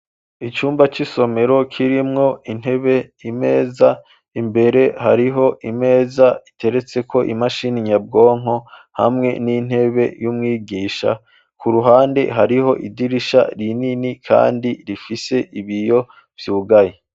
icumba cisomero kirimwo intebe imeza imbere hariho imeza iteretse ko imashini nyabwonko hamwe n'intebe y'umwigisha ku ruhande hariho idirisha rinini kandi rifise ibiyo vyugaye.